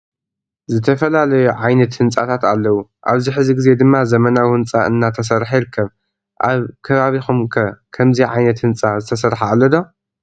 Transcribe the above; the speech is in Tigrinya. ዝተፈላለዩ ዓይነት ህንፃታተ አለው አብዚ ሕዚ ግዜ ድማ ዘመናዊ ህንፃ እናተሰርሐ ይርከብ። አብ ከባቢኩም ከ ከምዚ ዓየነተ ህንፃ ዝተሰርሐ አሎ ዶ?